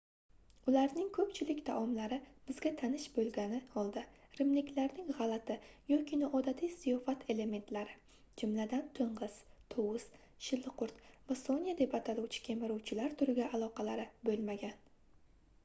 ularning koʻpchilik taomlari bizga tanish boʻlgani holda rimliklarning gʻalati yoki noodatiy ziyofat elementlari jumladan toʻngʻiz tovus shilliqqurt va sonya deb ataluvchi kemiruvchilar turiga aloqalari boʻlmagan